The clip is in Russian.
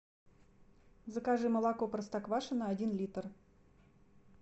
закажи молоко простоквашино один литр